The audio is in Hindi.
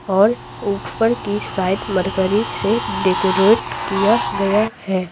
और ऊपर की साइड मरकरी से डेकोरेट किया गया है।